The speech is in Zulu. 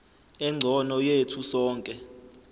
engcono yethu sonke